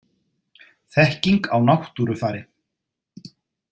Þekking á náttúrufari.